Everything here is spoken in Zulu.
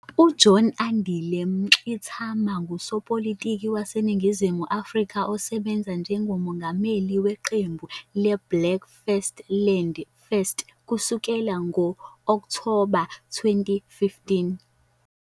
UJohn Andile Mngxitama ngusopolitiki waseNingizimu Afrika osebenza njengomengameli weqembu leBlack First Land First kusukela ngo-Okthoba 2015.